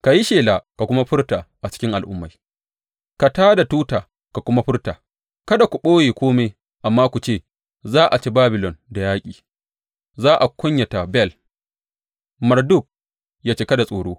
Ka yi shela ka kuma furta a cikin al’ummai, ka tā da tuta ka kuma furta; kada ku ɓoye kome, amma ku ce, Za a ci Babilon da yaƙi; za a kunyata Bel, Marduk ya cika da tsoro.